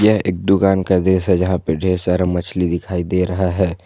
यह एक दुकान का दृश्य है जहां पे ढेर सारा मछली दिखाई दे रहा है।